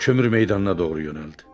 Kömür meydanına doğru yönəldi.